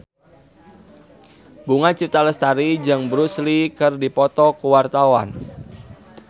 Bunga Citra Lestari jeung Bruce Lee keur dipoto ku wartawan